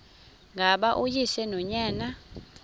ngaba uyise nonyana